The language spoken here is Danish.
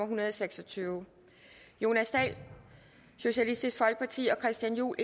hundrede og seks og tyve jonas dahl og christian juhl